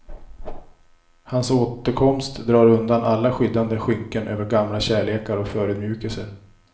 Hans återkomst drar undan alla skyddande skynken över gamla kärlekar och förödmjukelser.